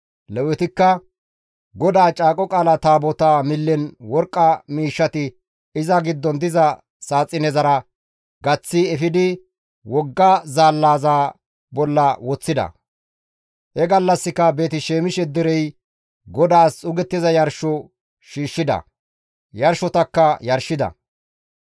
Lewetikka GODAA Caaqo Qaala Taabotaa millen worqqa miishshati iza giddon diza saaxinezara gaththi efidi wogga zaallaza bolla woththida; he gallassika Beeti-Shemishe derey GODAAS xuugettiza yarsho shiishshida; yarshotakka yarshida.